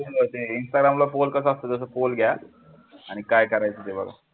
ते instagram ला pole कसा असतो तसा pole घ्या आणि काय करायचं ते बघा.